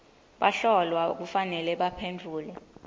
bahlolwa kufanele baphendvule